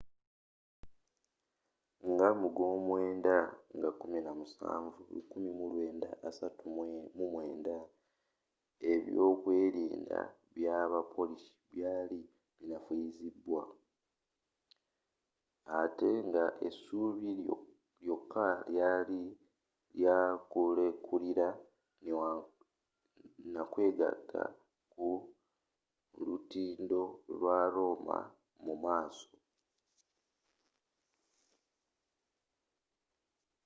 nga mugwomwenda nga 17 1939 ebyokwerinda bya ba polish byali binafuyiziddwa ate nga essuubi lyoka lyali lya kulekulira nakwegata ku lutindo lwa roma mu maaso